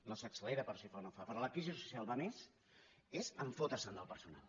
no s’accelera però si fa o no fa però la crisi social va a més és fotre’s del personal